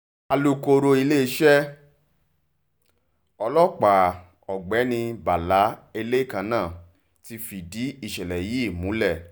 alukoro iléeṣẹ́ ọlọ́pàá ọ̀gbẹ́ni bàlà elekaná ti fìdí ìṣẹ̀lẹ̀ yìí múlẹ̀